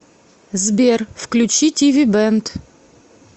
сбер включи ти ви бэнд